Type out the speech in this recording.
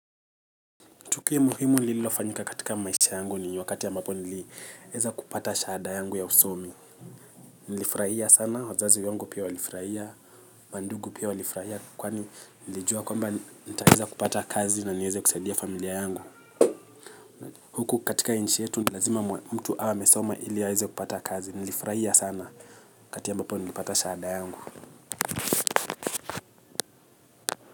Tukio muhimu nililofanyika katika maisha yangu ni wakati ambapo nilieza kupata shahada yangu ya usomi. Nilifurahia sana, wazazi wangu pia walifurahia. Mandugu pia walifurahia kwani nilijua kwamba nitaeza kupata kazi na nieze kusaidia familia yangu. Huku katika nchi yetu, lazima mtu aweamesoma iliaze kupata kazi. Nilifurahia sana wakati ambapo nilipata shahada yangu.